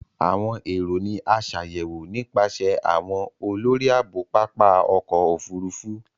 Awọn ero ni a ṣayẹwo nipasẹ awọn olori aabo Papa ọkọ ofurufu.